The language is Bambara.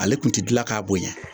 Ale tun tɛ dilan k'a bonya.